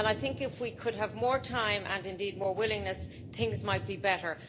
If we could have more time and, indeed, more willingness things might be better.